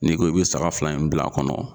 N'i ko i bɛ saga fila in bila a kɔnɔ.